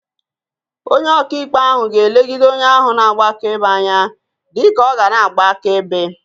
Onye oka ikpe ahu ga-elegide onye ahu na-agba akaebe anya dika ọ ga na-agba akaebe.